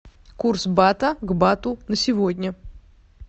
курс бата к бату на сегодня